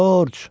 Corc!